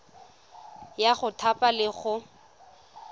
ya go thapa le go